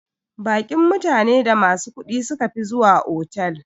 Baƙin mutane da masu kudi sukafi zuwa otal.